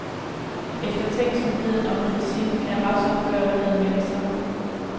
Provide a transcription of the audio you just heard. Eftertænksomheden og kritikken af retsopgøret havde meldt sig.